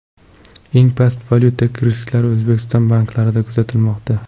Eng past valyuta risklari O‘zbekiston banklarida kuzatilmoqda.